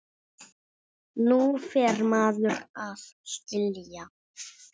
Nú fer maður að skilja!